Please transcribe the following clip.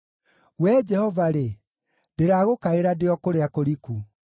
Wee Jehova-rĩ, ndĩragũkaĩra ndĩ o kũrĩa kũriku;